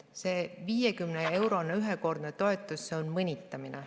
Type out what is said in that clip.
See 50-eurone ühekordne toetus on mõnitamine.